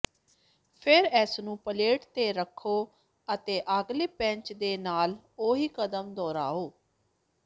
ਫਿਰ ਇਸਨੂੰ ਪਲੇਟ ਤੇ ਰੱਖੋ ਅਤੇ ਅਗਲੇ ਬੈਚ ਦੇ ਨਾਲ ਉਹੀ ਕਦਮ ਦੁਹਰਾਉ